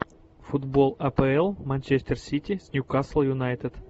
футбол апл манчестер сити с ньюкасл юнайтед